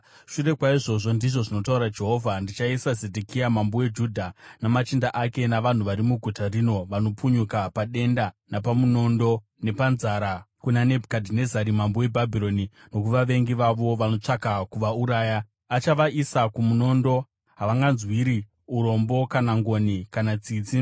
Shure kwaizvozvo, ndizvo zvinotaura Jehovha, ndichaisa Zedhekia mambo weJudha, namachinda ake navanhu vari muguta rino vanopunyuka padenda, napamunondo, nepanzara, kuna Nebhukadhinezari mambo weBhabhironi nokuvavengi vavo vanotsvaka kuvauraya. Achavaisa kumunondo; haangavanzwiri urombo, kana ngoni, kana tsitsi.’